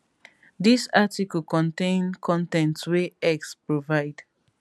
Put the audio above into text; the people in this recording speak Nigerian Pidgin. dis article contain con ten t wey x provide